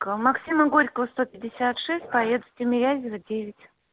к максима горького сто пятьдесят шесть поеду тимирязева девять